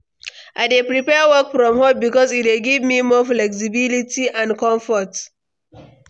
I dey prefer work from home because e dey give me more flexibility and comfort.